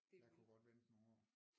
Jeg kunne godt vente nogle år